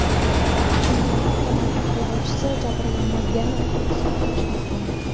Bundan avtomobil haydovchisi jabrlanmaganini xulosa qilish mumkin.